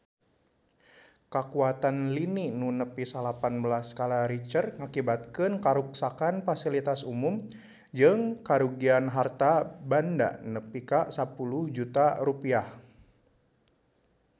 Kakuatan lini nu nepi salapan belas skala Richter ngakibatkeun karuksakan pasilitas umum jeung karugian harta banda nepi ka 10 juta rupiah